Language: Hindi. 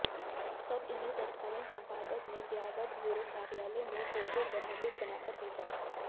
तब इन्हें तत्कालीन संपादक ने ब्यावर ब्यूरो कार्यालय में फोटो जर्नलिस्ट बनाकर भेजा